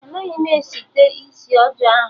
Anaghị m site isi ọjọọ ahụ